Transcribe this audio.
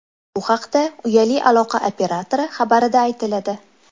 Bu haqda uyali aloqa operatori xabarida aytiladi .